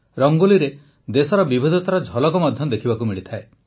ରଙ୍ଗୋଲିରେ ଦେଶର ବିବିଧତାର ଝଲକ ମଧ୍ୟ ଦେଖିବାକୁ ମିଳେ